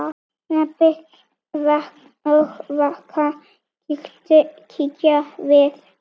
Rebbi og Vaka kíkja við.